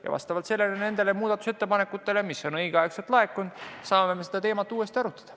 Ja vastavalt nendele muudatusettepanekutele, mis on õigeks ajaks laekunud, me saame seda teemat uuesti arutada.